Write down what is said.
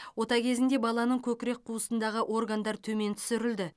ота кезінде баланың көкірек қуысындағы органдар төмен түсірілді